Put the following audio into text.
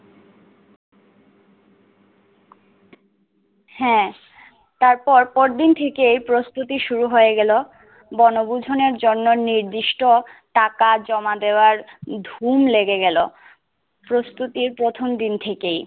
হ্যা তারপর পরদিন থেকে প্রস্তুতি শুরু হয়ে গেল বনভূজনের জন্য নিদির্ষ্ট টাকা জমা দেওয়ার ধুম লেগে গেল প্রস্তুতির প্রথম দিন থেকেই